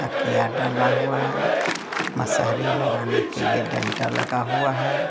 किया डाला हुआ है मशहरी लगाने के लिए टेंटा लगा हुआ है।